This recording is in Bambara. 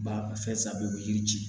Ba fɛn saba u bɛ yiri ci